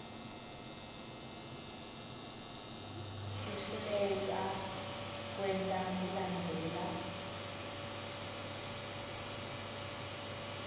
kuhluleka kwenta kulandzela